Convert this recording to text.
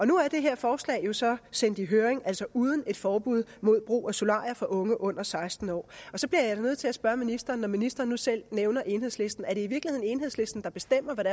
nu er det her forslag jo så sendt i høring uden et forbud mod brug af solarier for unge under seksten år og så bliver jeg nødt til at spørge ministeren når ministeren nu selv nævner enhedslisten er det i virkeligheden enhedslisten der bestemmer hvad